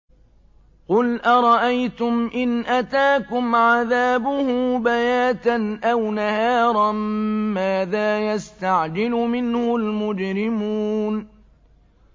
قُلْ أَرَأَيْتُمْ إِنْ أَتَاكُمْ عَذَابُهُ بَيَاتًا أَوْ نَهَارًا مَّاذَا يَسْتَعْجِلُ مِنْهُ الْمُجْرِمُونَ